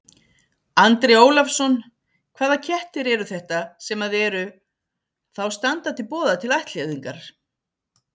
Andri Ólafsson: Hvaða kettir eru þetta sem að eru, þá standa til boða til ættleiðingar?